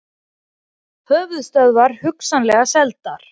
Höfuðstöðvar hugsanlega seldar